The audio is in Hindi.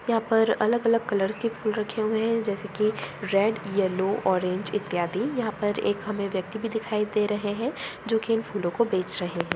यहां पर अलग-अलग कलर्स के फूल रखे हुए है जैसे कि रेड येलो ओरेंज इत्यादि यहां पर एक हमे एक व्यक्ति भी दिखाई दे रहे है जो कि इन फूलों को बेच रहे है।